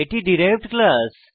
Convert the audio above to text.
এটি derived class